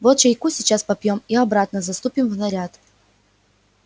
вот чайку сейчас попьём и обратно заступим в наряд